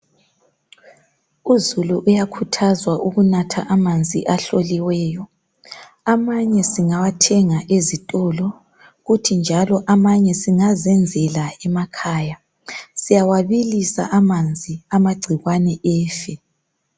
Uzulu uyakhuthazwa ukunatha amanzi ahloliweyo amanye singawathenga ezitolo kuthi njalo amanye singazenzela emakhaya siyawabilisa amanzi amagcikwane efe.